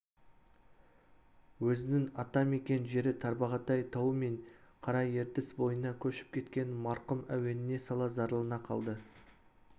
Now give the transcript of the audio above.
өзінің ата-мекен жері тарбағатай тауы мен қара ертіс бойына көшіп кеткенін марқұм әуеніне сала зарлана қалды